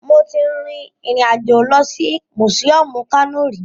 Mo ti rin ìrìn àjò lọ sí mùsíọmù Kano rí